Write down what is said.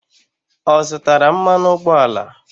Ọ zụtara mmanụ ụgbọala?